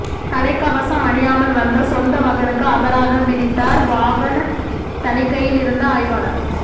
தலைகவசம் அணியாமால் வந்த சொந்த மகனுக்கு அபராதம் விதித்தார் வாகன் தணிக்கையில் இருந்த ஆய்வாளர்